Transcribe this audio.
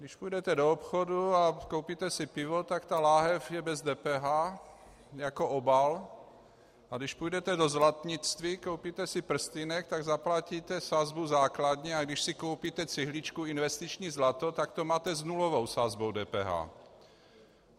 Když půjdete do obchodu a koupíte si pivo, tak ta lahev je bez DPH jako obal, a když půjdete do zlatnictví, koupíte si prstýnek, tak zaplatíte sazbu základní, a když si koupíte cihličku investiční zlato, tak to máte s nulovou sazbou DPH.